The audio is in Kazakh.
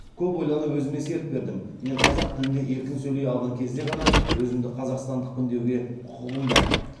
көп ойланып өзіме серт бердім мен қазақ тілінде еркін сөйлей алған кезде ғана өзімді қазақстандықпын деуге құқығым бар